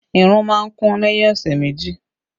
Irun má ń kún lẹ́yìn ọ̀sẹ̀ méjì